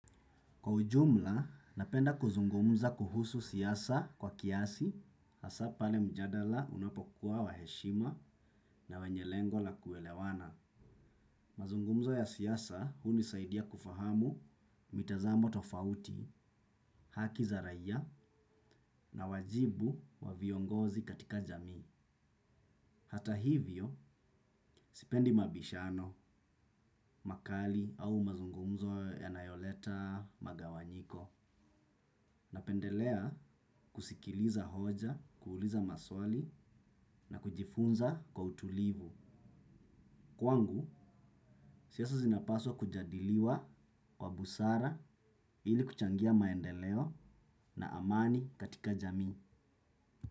Kwa ujumla, napenda kuzungumza kuhusu siasa kwa kiasi, hasa pale mjadala unapokuwa wa heshima na wenye lengo la kuelewana. Mazungumzo ya siasa, huni saidia kufahamu mitazamo tofauti, haki za raia na wajibu wa viongozi katika jamii. Hata hivyo, sipendi mabishano, makali au mazungumzo yanayoleta magawanyiko. Napendelea kusikiliza hoja, kuuliza maswali na kujifunza kwa utulivu. Kwangu, siasa zinapaswa kujadiliwa kwa busara ili kuchangia maendeleo na amani katika jamii.